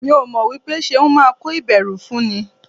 Mi ò mọ̀ wípé Ṣeun máa kó ìbẹ̀rù fún ni.